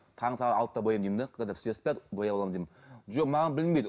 таңғы сағат алтыда бояймын деймін де когда все спят бояп аламын деймін жоқ маған білінбейді